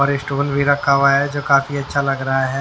और स्टोल भी रखा हुआ हैजो काफी अच्छा लग रहा है।